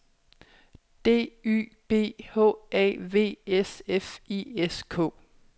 D Y B H A V S F I S K